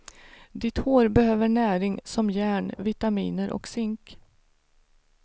Ditt hår behöver näring som järn, vitaminer och zink.